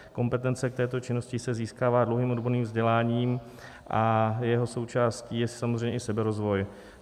Kompetence k této činnosti se získává dlouhým odborným vzděláním a jeho součástí je samozřejmě i seberozvoj.